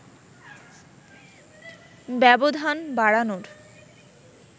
ব্যবধান বাড়নোর